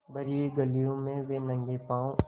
भरी हुई गलियों में वे नंगे पॉँव स्